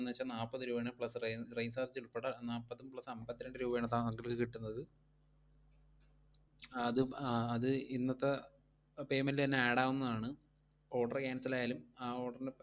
എന്നുവെച്ചാൽ നാപ്പത് രൂപയാണ് plus rain rain charge ഉൾപ്പടെ നാപ്പതും plus അമ്പത്തിരണ്ട് രൂപയാണ് sir നു monthly കിട്ടുന്നത്. അത് ഇപ്~ അത് ഇന്നത്തെ payment തന്നെ add ആവുന്നതാണ് order cancel ആയാലും ആ order ന്